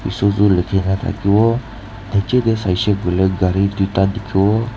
Suzu lekhe kena thake bo nejey tey sai she koile gare tuita dekhe vo.